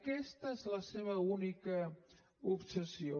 aquesta és la seva única obsessió